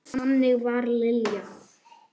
Þannig var Lilja.